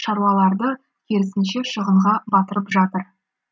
шаруаларды керісінше шығынға батырып жатыр